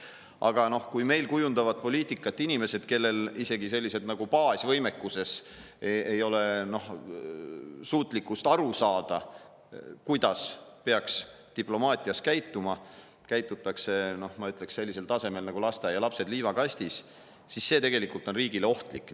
Aga kui meil kujundavad poliitikat inimesed, kellel isegi baasvõimekusena ei ole suutlikkust aru saada, kuidas peaks diplomaatias käituma – käitutakse, ma ütleksin, sellisel tasemel nagu lasteaialapsed liivakastis –, siis see on tegelikult riigile ohtlik.